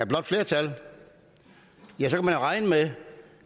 blåt flertal kan man regne med